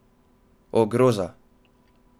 O, groza!